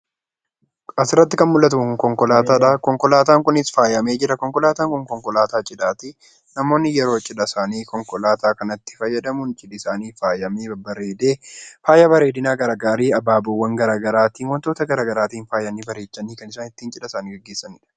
Asirratti kan mul'atu kun konkolaataadha. Konkolaataan kunis faayamee jira. Konkolaataan kun konkolaataa cidhaati. Namoonni yeroo cidha isaanii konkolaataa kanatti fayyadamuun cidha isaanii faayanii bareedee faaya bareedinaa adda addaa abaaboowwan garaagaraatiin wantoota garaagaraatiin faayanii bareechanii kan isaan cidha isaanii ittiin gaggeessanidha.